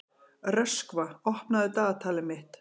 Röskva, opnaðu dagatalið mitt.